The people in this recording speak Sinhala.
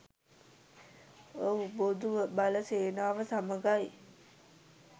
ඔව් බොදු බල සේනාව සමඟයි